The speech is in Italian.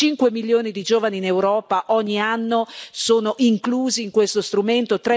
Cinque milioni di giovani in Europa, ogni anno, sono inclusi in questo strumento.